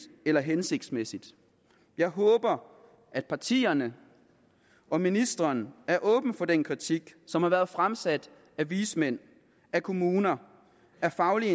eller hensigtsmæssigt jeg håber at partierne og ministeren er åben for den kritik som har været fremsat af vismænd af kommuner af faglige